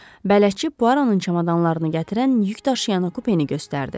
Bələdçi Puaronun çamadanlarını gətirən yük daşıyanı kupeni göstərdi.